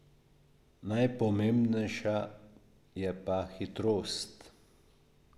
Najpomembnejša je pa hitrost.